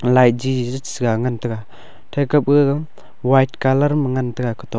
light jiji sa ngan tega the kapaga white colour ma ngan taga katok--